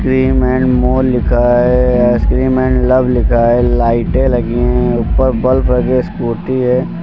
Cream and more लिखा है ice cream and love लिखा है लाइटें लगी हैं ऊपर बल्ब आगे स्कूटी है।